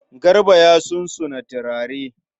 Garba ya sunsuna turare.